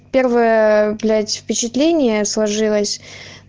первое блять впечатление сложилось